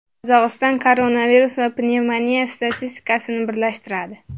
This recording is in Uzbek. Qozog‘iston koronavirus va pnevmoniya statistikasini birlashtiradi.